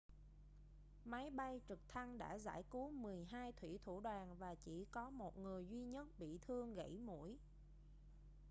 máy bay trực thăng đã giải cứu mười hai thủy thủ đoàn và chỉ có một người duy nhất bị thương gẫy mũi